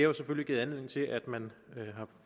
jo selvfølgelig givet anledning til at man har